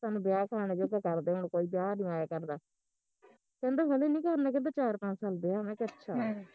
ਵਿਆਹ ਖਾਣੇ ਜੋਗਾ ਕਰਦੇ ਹੁਣ ਕੋਈ ਵਿਆਹ ਨੀ ਆਇਆ ਕਰਦਾ ਕਹਿੰਦਾ ਹਲੇ ਨੀ ਕਰਨਾ ਕਹਿੰਦਾ ਚਾਰ ਪੰਜ ਸਾਲ ਵਿਆਹ ਮੈਂ ਕਿਹਾ ਅੱਛਾ